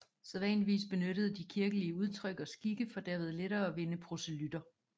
Sædvanligvis benyttede de kirkelige udtryk og skikke for derved lettere at vinde proselytter